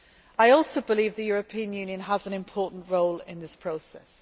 I also believe the European Union has an important role in this process.